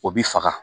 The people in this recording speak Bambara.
O bi faga